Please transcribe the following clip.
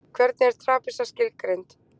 Hvernig er trapisa skilgreind?